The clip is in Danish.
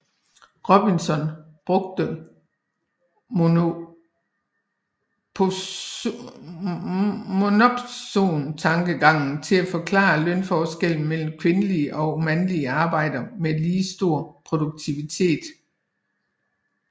Robinson brugte monopsontankegangen til at forklare lønforskelle mellem kvindelige og mandlige arbejdere med lige stor produktivitet